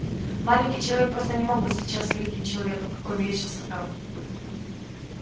маленький человек просто не мог быть сейчас великим человеком какой мерещился травке